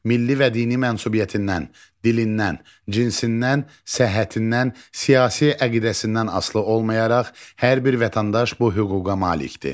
Milli və dini mənsubiyyətindən, dilindən, cinsindən, səhhətindən, siyasi əqidəsindən asılı olmayaraq hər bir vətəndaş bu hüquqa malikdir.